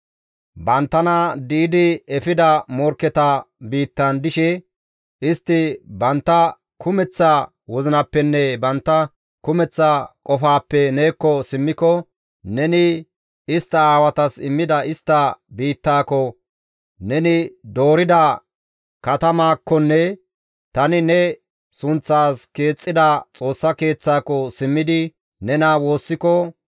banttana di7idi efida morkketa biittan dishe, istti bantta kumeththa wozinappenne bantta kumeththa qofaappe neekko simmiko, neni istta aawatas immida istta biittaako, neni doorida katamaakkonne tani ne sunththaas keexxida Xoossa Keeththaako simmidi nena woossiko,